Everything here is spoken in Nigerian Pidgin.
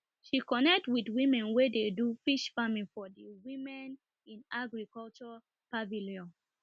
she connect with women wey dey do fish farming for di womeninagriculture pavilion